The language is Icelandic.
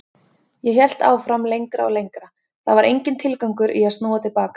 Ég hélt áfram lengra og lengra, það var enginn tilgangur í að snúa til baka.